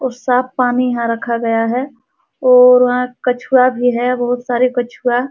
ओर साफ़ पानी यहाँ रखा गया है ओर वहाँ कछुआ भी है बहुत सारे कछुआ।